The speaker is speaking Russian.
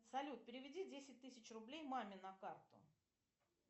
салют переведи десять тысяч рублей маме на карту